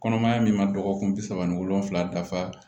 Kɔnɔmaya min ma dɔgɔkun bi saba ani wolonvila dafa